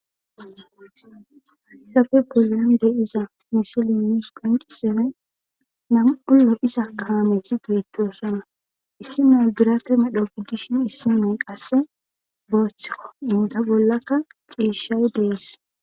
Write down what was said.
hayssafe polan deyiza misile miis qoncise nam7ullo isa kaameti beettosana issi nay birate medhokiddishin issi nay qasse booththikko inda bollakka ciishay dees